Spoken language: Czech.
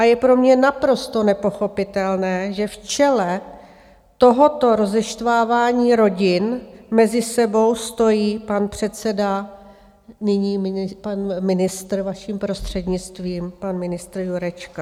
A je pro mě naprosto nepochopitelné, že v čele tohoto rozeštvávání rodin mezi sebou stojí pan předseda, nyní pan ministr, vaším prostřednictvím, pan ministr Jurečka.